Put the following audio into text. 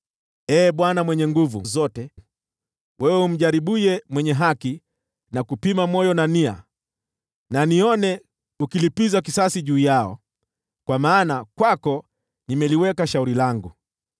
Ee Bwana Mwenye Nguvu Zote, wewe umjaribuye mwenye haki na kupima moyo na nia, hebu nione ukilipiza kisasi juu yao, kwa maana kwako nimeliweka shauri langu.